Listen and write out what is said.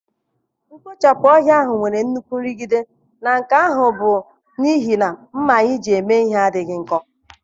Mkpochapụ ohia nwere nnukwu nrụgide na nke ahụ bụ n'ihi na ḿmà anyị ji mee ihe adịghị nkọ.